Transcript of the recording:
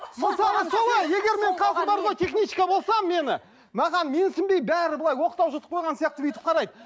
егер мен қазір бар ғой техничка болсам мені маған менсінбей бәрі былай оқтау жұтып қойған сияқты бүйтіп қарайды